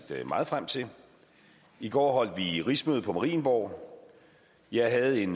meget frem til i går holdt vi rigsmøde på marienborg jeg havde en